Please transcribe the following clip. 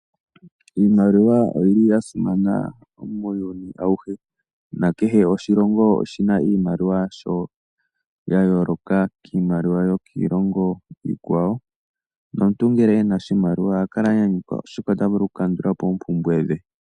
Iimaliwa yasimana muuyuni awuhe, nakehe oshilongo oshina iimaliwa yasho yayooloka kiimaliwa yokiilongo iikwawo no muntu ngele ena oshimaliwa oha kala anyanyukwa oshoka otavulu okukandulapo oompumbwe dhe.